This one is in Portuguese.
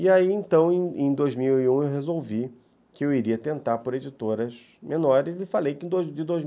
E aí, então, em em dois mil e um, eu resolvi que eu iria tentar por editoras menores e falei que